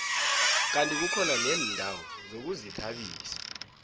kandi kukhona neendawo zokuzithabisa